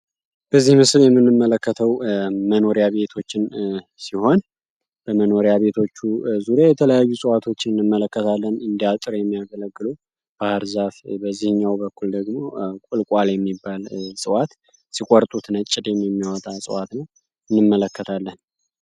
በዚህ ምስል የምንመለከተው መኖሪያ ቤቶችን ሲሆን በመኖሪያ ቤቶች ዙሪያየተለያዩ እፅዋትቶችን እንመለከታለን እንደ አጥር የሚያገለግሉ ባህር ዛፍ በዚህኛው በኩል ደግሞ ቁልቋል የሚባል እፅዋት ነው ሲቆርጡት ነጭ ደም የሚያወጣ እፅዋት ነው እንመለከታለን።